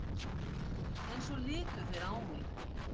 En svo litu þeir á mig.